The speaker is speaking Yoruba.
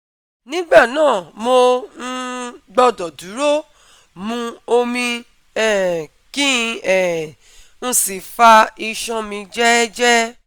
Nígbà náà mo um gbọdọ̀ dúró, mu omi um kí um n sì fa iṣan mi jẹ́ẹ́jẹ́ẹ́